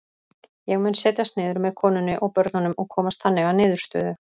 Ég mun setjast niður með konunni og börnunum og komast þannig að niðurstöðu.